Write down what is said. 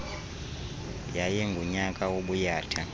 yayi ngunyaka wobuyatha